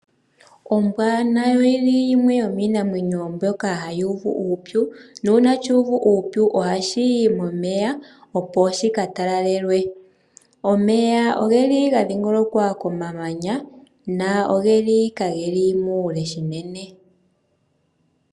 Ombwa wo nayo oyili yimwe yomiinamwenyo mbyoka hayi uvu uupyu, nuuna shuuvu uupyu ohashi yi momeya opo shi ka talalelwe. Omeya oge li ga dhingolokwa komamanya, go kage li mokule unene.